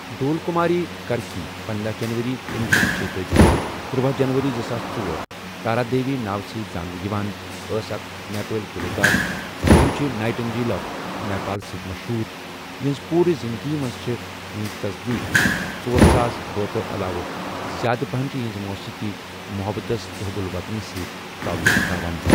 ڈول کُماری کَرکی پندہَ جَنؤری کنۄہ شیتھ تہٕ شیتأجی، تٔرۄۄہُ جَنؤری زٕساس ژۄر ، تارہ دیوی ناوٕ سٕتی زانٕنہٕ یوان، أس اَکھ نیپٲلی گلوکار یِمٕہ چھِ نائٹِ انٛگٕیل آف نیپال سٟتؠ مَشہوٗر، اِہٕنٛزِ پوٗرٕ زِنٛدگی مَنٛز چھےٚ یِہِنٛز تَصدیٖق ژۄر ساس بٲتھو علاوٕ زیٛادٕ پہَن چھِ یِہٕنٛز موٗسیٖقی محبتس تٕہ حب الوطنی سۭتۍ تولُق تھاوان.